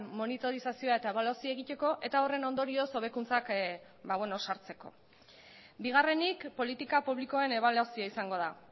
monitorizazioa eta ebaluazioa egiteko eta horren ondorioz hobekuntzak sartzeko bigarrenik politika publikoen ebaluazioa izango da